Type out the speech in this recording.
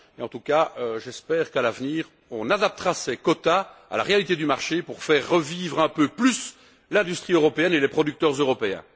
En tout cas, j'espère qu'à l'avenir, on adaptera ces quotas à la réalité du marché pour faire revivre un peu plus l'industrie européenne et les producteurs européens.